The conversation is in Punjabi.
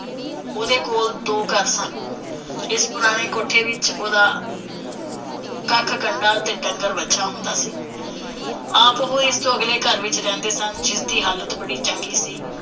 ਉਹਦੇ ਕੋਲ ਦੋ ਘਰ ਸਨ। ਇਸ ਪੁਰਾਣੇ ਕੋਠੇ ਵਿਚ ਉਹਦਾ ਕੱਖ ਕੰਡਾ ਤੇ ਡੰਗਰ ਵੱਛਾ ਹੁੰਦਾ ਸੀ। ਆਪ ਉਹ ਇਸ ਤੋਂ ਅਗਲੇ ਘਰ ਵਿਚ ਰਹਿੰਦੇ ਸਨ, ਜਿਸ ਦੀ ਹਾਲਤ ਬੜੀ ਚੰਗੀ ਸੀ